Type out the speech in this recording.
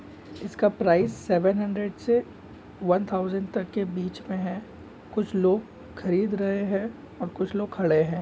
इसका price seven hundred से one thousand के बिच में हैं। कुछ लोग खरीद रहैं हैं और कुछ लोग खड़े हैं।